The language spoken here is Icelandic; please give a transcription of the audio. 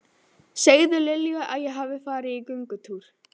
Segðu Lilju að ég hafi farið í göngutúr.